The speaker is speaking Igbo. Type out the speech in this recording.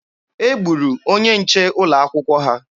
E gburu onye nche ụlọ akwụkwọ ha.